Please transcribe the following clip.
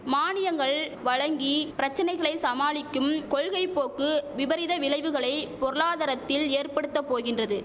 மானியங்கள் வழங்கி பிரச்சனைகளை சமாளிக்கும் கொள்கை போக்கு விபரீத விளைவுகளை பொருளாதாரத்தில் ஏற்படுத்த போகின்றது